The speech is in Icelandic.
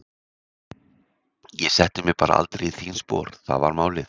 Ég setti mig bara aldrei í þín spor, það var málið.